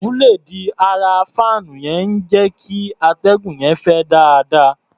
Búléèdì ara fáànù yẹn ń jẹ́ kí atẹ́gùn yẹn fẹ́ dáadáa.